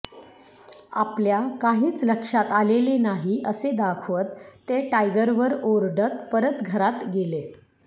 आपल्या काहीच लक्षात आलेले नाही असे दाखवत ते टायगरवर ओरडत परत घरात गेले